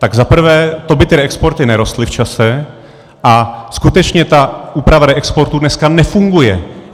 Tak za prvé, to by ty reexporty nerostly v čase, a skutečně ta úprava reexportu dneska nefunguje.